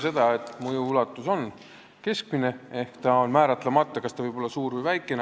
See, et mõju ulatus on keskmine, tähendab seda, et see on määratlemata: see võib olla suur või väikene.